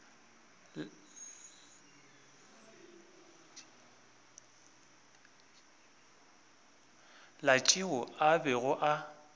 la tšeo a bego a